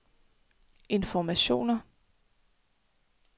informationer